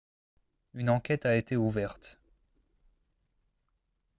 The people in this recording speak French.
une enquête a été ouverte